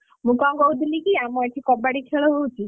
ମୁଁ କଣ କହୁଥିଲି କି ଆମ ଏଠି କବାଡି ଖେଳ ହଉଛି।